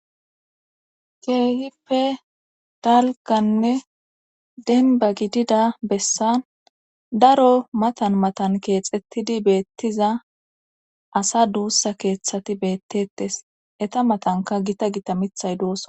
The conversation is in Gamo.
Keehippe dalganne denba gidida bessan daro matan matan keexettidi beettiza asa duussa keeththati beettettes eta matanka gita gita mithay doosa